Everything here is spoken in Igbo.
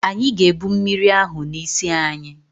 Anyị ga-ebụ mmiri ahụ n'isi anyị